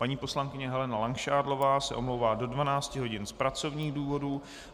Paní poslankyně Helena Langšádlová se omlouvá do 12 hodin z pracovních důvodů.